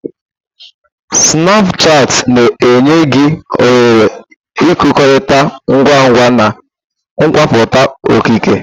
Snapushati na-enye gị ohere ịkekọrịta ngwa ngwa na nkwupụta okike.